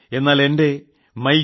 എന്നാൽ എന്റെ my G